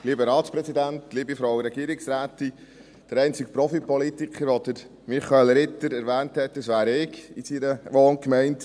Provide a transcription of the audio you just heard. Der einzige Profipolitiker, den Michael Ritter erwähnt hat, bin ich in seiner Wohngemeinde.